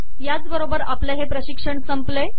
याचबरोबर आपले हे प्रशिक्षण संपले